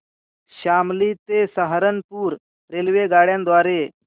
शामली ते सहारनपुर रेल्वेगाड्यां द्वारे